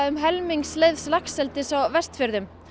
um helmings laxeldis á Vestfjörðum